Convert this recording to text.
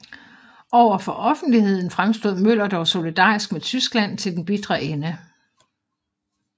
Over for offentligheden fremstod Møller dog solidarisk med Tyskland til den bitre ende